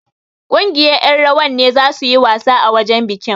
Ƙungiyar ƴan rawar ne zasu yi wasa a wajen bikin.